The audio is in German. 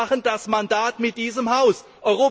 Nein, Sie machen das Mandat mit diesem Haus aus.